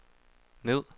ned